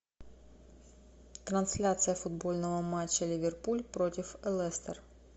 трансляция футбольного матча ливерпуль против лестер